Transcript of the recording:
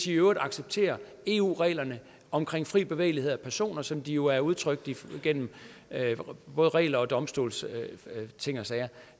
i øvrigt accepterer eu reglerne om fri bevægelighed for personer som de er udtrykt igennem både regler og domstolsting og sager